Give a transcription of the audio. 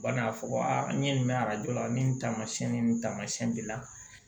U bɛ na a fɔ ko aa n ye nin mɛn arajo la ni nin tamasiyɛn ni nin taamasiyɛn b'i la